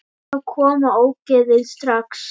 Þá koma ógeðin strax.